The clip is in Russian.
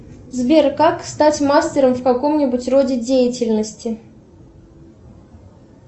сбер как стать мастером в каком нибудь роде деятельности